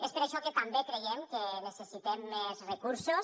és per això que també creiem que necessitem més recursos